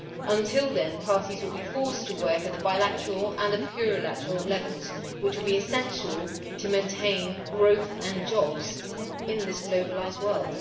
Until then, parties will be forced to work at the bilateral and plurilateral levels, which will be essential to maintain growth and jobs in this globalised world.